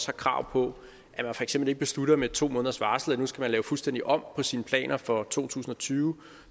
krav på at man for eksempel ikke beslutter med to måneders varsel at nu skal man lave fuldstændig om på sine planer for to tusind og tyve